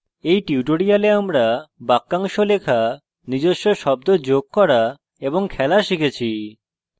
in tutorial আমরা বাক্যাংশ লেখা নিজস্ব শব্দ যোগ করা এবং খেলা শিখেছি